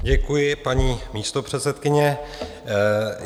Děkuji, paní místopředsedkyně.